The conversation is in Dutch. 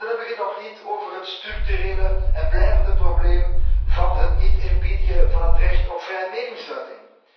En dan heb ik het nog niet over het structurele en blijvende probleem van het niet eerbiedigen van het recht op vrije meningsuiting.